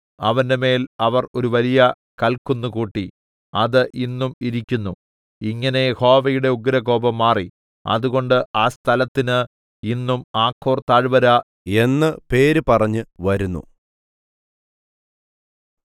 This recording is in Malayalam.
അവന്റെമേൽ അവർ ഒരു വലിയ കല്ക്കുന്ന് കൂട്ടി അത് ഇന്നും ഇരിക്കുന്നു ഇങ്ങനെ യഹോവയുടെ ഉഗ്രകോപം മാറി അതുകൊണ്ട് ആ സ്ഥലത്തിന് ഇന്നും ആഖോർ താഴ്‌വര എന്ന് പേരു പറഞ്ഞുവരുന്നു